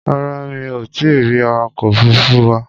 Rárá, mi ò tí ì rí awakọ̀ òfuruufú wa.